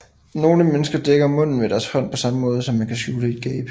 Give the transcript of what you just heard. Nogle mennesker dækker munden med deres hånd på samme måde som man kan skjule et gab